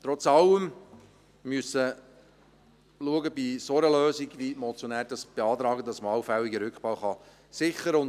Trotz allem: Wir müssen dafür sorgen, dass man bei einer solchen Lösung, wie sie die Motionäre beantragen, einen allfälliger Rückbau sichern kann.